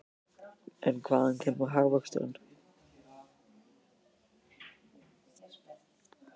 En hvaðan kemur hagvöxturinn?